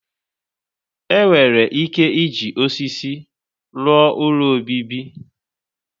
Enwere ike iji osisi rụọ ụlọ obibi?